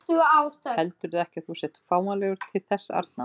Heldurðu ekki að þú sért fáanlegur til þess arna?